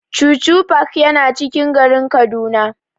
Chuchu park yana cikin garin Kaduna.